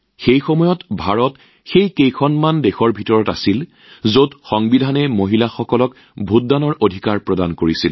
সেই সময়ছোৱাত ভাৰত এনে এখন দেশ আছিল যাৰ সংবিধানে মহিলাৰ ভোটাধিকাৰ সাব্যস্ত কৰিছিল